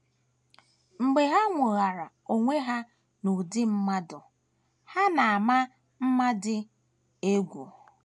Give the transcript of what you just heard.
Mgbe ha nwoghara onwe ha n’ụdị mmadụ, ha na - ama mma dị egwu.